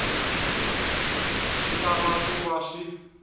swi tala ku va swi